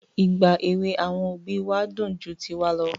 Ìgbà èwè àwọn òbí wa dùn ju tiwa lọ.